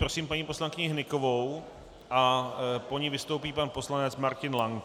Prosím paní poslankyni Hnykovou a po ní vystoupí pan poslanec Martin Lank.